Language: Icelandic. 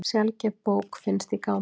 Sjaldgæf bók finnst í gámi